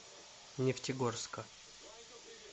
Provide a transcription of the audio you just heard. нефтегорска